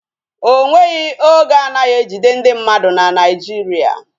Ọnweghi oge anaghị ejide ndị mmadụ na Naijiria